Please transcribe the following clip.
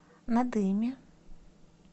надыме